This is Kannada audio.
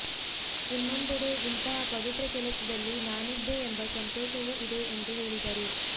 ಇನ್ನೊಂದೆಡೆ ಇಂತಹ ಪವಿತ್ರ ಕೆಲಸದಲ್ಲಿ ನಾನಿದ್ದೆ ಎಂಬ ಸಂತೋಷವೂ ಇದೆ ಎಂದು ಹೇಳಿದರು